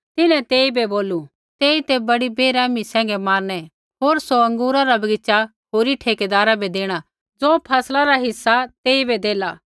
तिन्हैं तेइबै बोलू तेई ते बड़ी बैरहमी सैंघै मारनै होर सौ अँगूरा रा बगीच़ा होरी ठेकैदारा बै देणा ज़े फैसला रा हिस्सा तेइबै देलै